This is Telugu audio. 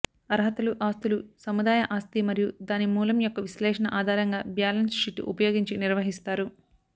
అర్హతలు ఆస్తులు సముదాయ ఆస్తి మరియు దాని మూలం యొక్క విశ్లేషణ ఆధారంగా బ్యాలెన్స్ షీట్ ఉపయోగించి నిర్వహిస్తారు